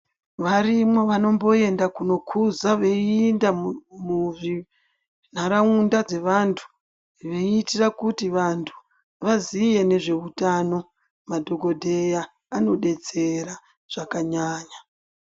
Varimwo vanomboenda kuno kuza veyiinda muntaraunda dzevantu veyiitira kuti vantu vazive nezve utano madhokodheya anodetsera zvakanyanya.